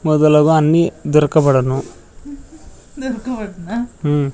మొదలగు అన్నీ దొరకబడును దొరకబడున ఉం.